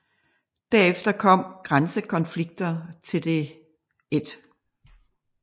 Derefter kom grænsekonflikter til det 1